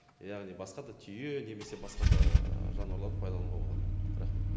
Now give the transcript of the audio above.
яғни басқа да түйе немесе басқа да ііі жануарларды пайдалануға болады рахмет